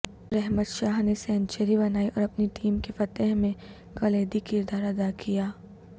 رحمت شاہ نے سینچری بنائی اور اپنی ٹیم کی فتح میں کلیدی کردار ادا کیا